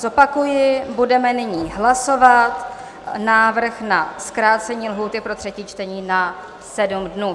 Zopakuji, budeme nyní hlasovat návrh na zkrácení lhůty pro třetí čtení na 7 dnů.